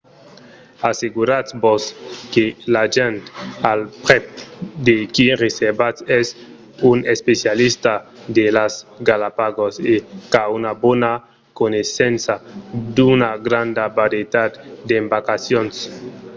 asseguratz-vos que l’agent al prèp de qui reservatz es un especialista de las galapagos e qu'a una bona coneissença d'una granda varietat d'embarcacions